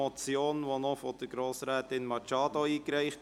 Diese wurde noch von Grossrätin Machado eingereicht.